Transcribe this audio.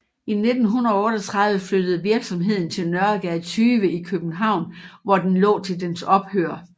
I 1938 flyttede virksomheden til Nørregade 20 i København hvor den lå til dens ophør